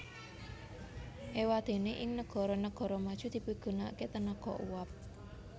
Éwadéné ing negara negara maju dipigunakaké tenaga uap